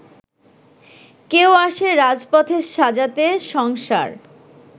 কেউ আসে রাজপথে সাজাতে সংসার